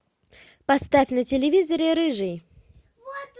поставь на телевизоре рыжий